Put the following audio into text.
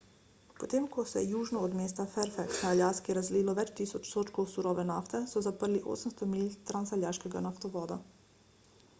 potem ko se je južno od mesta fairbanks na aljaski razlilo več tisoč sodčkov surove nafte so zaprli 800 milj transaljaškega naftovoda